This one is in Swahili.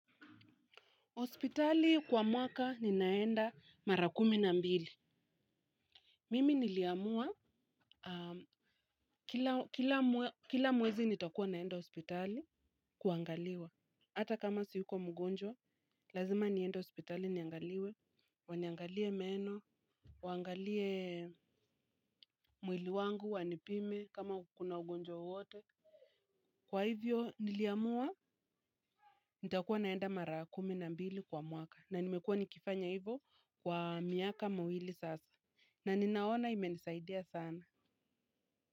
Hospitali kwa mwaka ni naenda mara kumi na mbili. Mimi niliamua kila mwezi nitakua naenda hospitali kuangaliwa. Ata kama si yuko mgonjwa, lazima niende hospitali niangaliwe. Waniangalie meno, wangalie mwili wangu, wanipime, kama kuko na ugonjwa wowote. Kwa hivyo niliamua nitakua naenda mara kumi na mbili kwa mwaka. Na nimekua nikifanya hivo kwa miaka mawili sasa. Na ni naona imenisaidia sana.